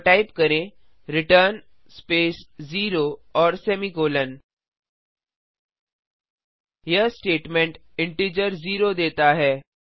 और टाइप करें return space 0 और सेमीकोलों यह स्टेटमेंट इंटीजर जीरो देता है